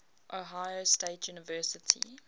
ohio state university